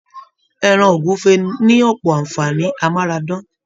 Ẹran ogúnfe ni ọpọ anfààní amárádán.